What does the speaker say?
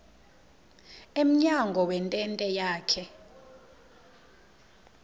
emnyango wentente yakhe